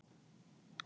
Þau áttu mörg börn.